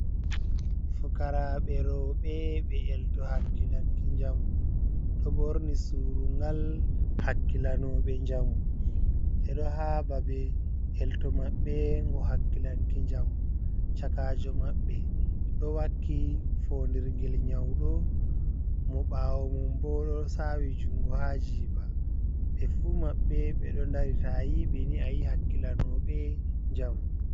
Fukaraɓe roɓee ɓe elto hakkilanki jamu. Ɗo ɓorni surungal hakkilanoɓe jamu. Ɓe ɗo ha ɓaɓe elto maɓɓe ngo hakkilanki jamu. Chakajo maɓɓe, ɗo wakki fonɗirgel nyauɗo. Mo ɓawo mum ɓo ɗo sawi jungo ha jiɓa. Ɓe fu maɓɓe ɓe ɗo ɗari, ta ayiɓe ni ayi hakkilanoɓe njamu.